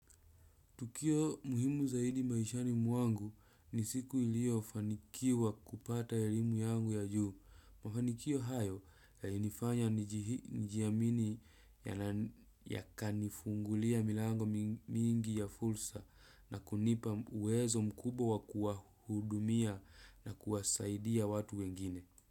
Tukio muhimu zaidi maishani mwangu ni siku niliyofanikiwa kupata elimu yangu ya juu. Mafanikio hayo yalinifanya nijiamini yakanifungulia milango mingi ya fursa na kunipa uwezo mkubwa kuwahudumia na kuwasaidia watu wengine.